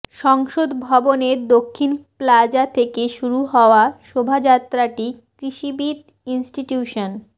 সংসদ ভবনের দক্ষিণ প্লাজা থেকে শুরু হওয়া শোভাযাত্রাটি কৃষিবিদ ইনস্টিটিউশন